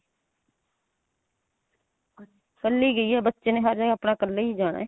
ਇੱਕਲੀ ਗਈ ਆ ਬੱਚੇ ਨੇ ਬੱਸ ਇੱਕਲੇ ਈ ਜਾਣਾ